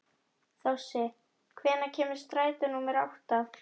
Þossi, hvenær kemur strætó númer átta?